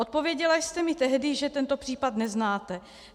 Odpověděla jste mi tehdy, že tento případ neznáte.